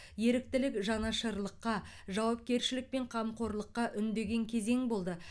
еріктілік жанашырлыққа жауапкершілік пен қамқорлыққа үндеген кезең болды